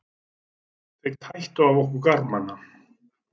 Þeir tættu af okkur garmana.